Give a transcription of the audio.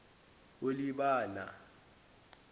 olibana